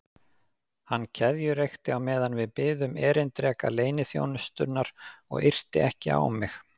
Hann keðjureykti á meðan við biðum erindreka leyniþjónustunnar og yrti ekki á mig.